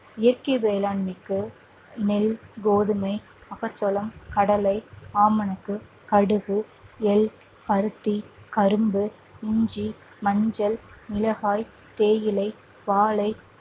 இயற்கை வேளாண்மைக்கு நெல், கோதுமை, மக்காச்சோளம், கடலை, ஆமணக்கு, கடுகு, எள், பருத்தி, கரும்பு, இஞ்சி, மஞ்சள், மிளகாய், தேயிலை, வாழை,